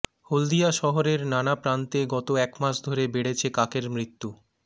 হলদিয়া শহরের নানা প্রান্তে গত একমাস ধরে বেড়েছে কাকের মৃত্যু